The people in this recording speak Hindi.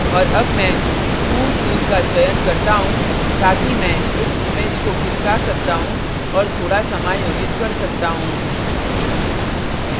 और अब मैं move tool का चयन करता move ताकि मैं इस image को खिसका सकता move और थोड़ा समायोजित कर सकता move